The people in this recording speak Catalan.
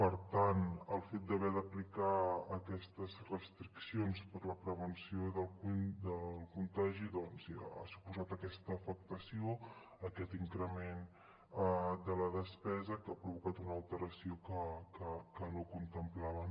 per tant el fet d’haver d’aplicar aquestes restriccions per a la prevenció del contagi ja ha suposat aquesta afectació aquest increment de la despesa que ha provocat una alteració que no contemplaven